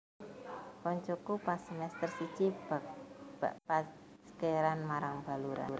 Koncoku pas semester siji backpackeran marang Baluran